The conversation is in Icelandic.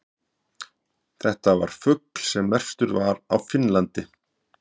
þetta var fugl sem merktur var í finnlandi